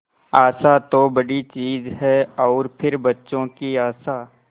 आशा तो बड़ी चीज है और फिर बच्चों की आशा